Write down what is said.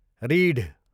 रीढ